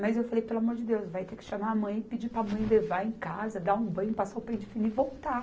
Mas eu falei, pelo amor de Deus, vai ter que chamar a mãe e pedir para a mãe levar em casa, dar um banho, passar o pente fino e voltar.